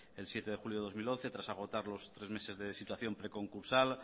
el siete de julio de dos mil once tras agotar los tres meses de situación preconcursal